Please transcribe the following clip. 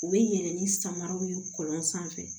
U bɛ yɛlɛ ni samaraw ye kɔlɔn sanfɛ